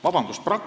Vabandust!